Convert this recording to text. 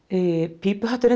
pípuhatturinn